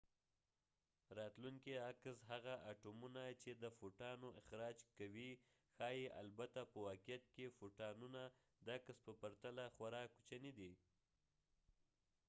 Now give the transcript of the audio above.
راتلونکی عکس هغه اټومونه چې د فوټانو اخراج کوي ښايي البته په واقعیت کې فوټانونه د عکس په پرتله خورا کوچني دي